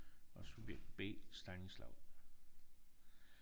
Og subjekt B Stanislav